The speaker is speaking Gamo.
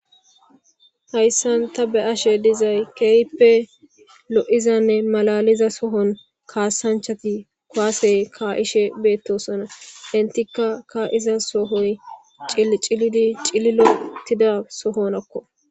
hayssan ta be ashe dizay keehppe lo7izanne malaliza sohon kaasanchati kwasey kaa7ishe beettosona intika kaa7iza sohoy ciidi cili lotida sohonakko